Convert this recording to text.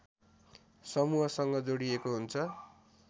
समूहसँग जोडिएको हुन्छ